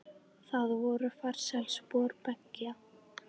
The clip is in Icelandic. Það voru farsæl spor beggja.